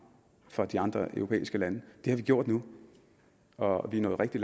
fra de andre europæiske lande det har vi gjort nu og vi er nået rigtig